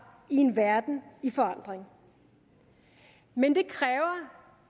i en verden i forandring men det kræver